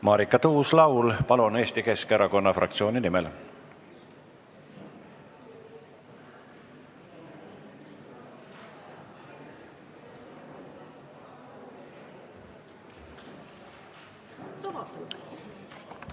Marika Tuus-Laul Eesti Keskerakonna fraktsiooni nimel, palun!